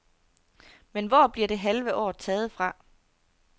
Men hvor bliver det halve år taget fra?